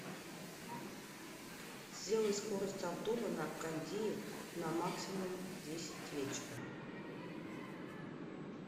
сделай скорость обдува на кондее на максимум в десять вечера